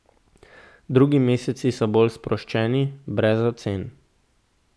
Drugi meseci so bolj sproščeni, brez ocen.